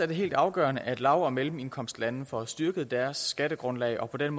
det helt afgørende at lav og mellemindkomstlande får styrket deres skattegrundlag og på den